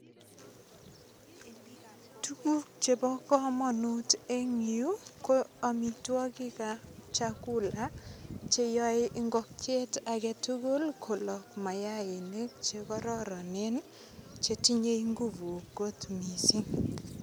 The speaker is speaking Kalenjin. Tuguk chebo kamanut eng yu ko amitwogik ab chakula che yoe ingokiet age tugul ko lok mayainik che kororonen chetinyei inguvu kot mising.